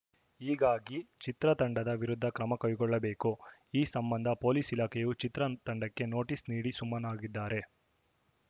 ಹೀಗಾಗಿ ಚಿತ್ರತಂಡದ ವಿರುದ್ಧ ಕ್ರಮ ಕೈಗೊಳ್ಳಬೇಕು ಈ ಸಂಬಂಧ ಪೊಲೀಸ್‌ ಇಲಾಖೆಯು ಚಿತ್ರ ತಂಡಕ್ಕೆ ನೋಟಿಸ್‌ ನೀಡಿ ಸುಮ್ಮನಾಗಿದ್ದಾರೆ